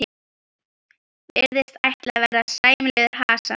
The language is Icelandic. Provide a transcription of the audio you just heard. Virðist ætla að verða sæmilegur hasar.